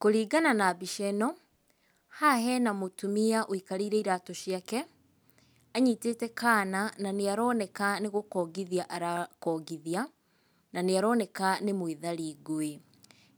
Kũringana na mbica ĩno, haha hena mũtumia ũikarĩire iratũ ciake anyitĩte kaana na nĩ aroneka nĩ gũkongithia arakongithia, na nĩ aroneka nĩ mwĩthari ngũĩ.